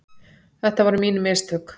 Þetta voru mín mistök.